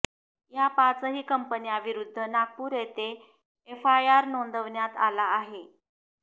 या पाचही कंपन्यांविरूद्ध नागपूर येथे एफआयआर नोंदविण्यात आला आहे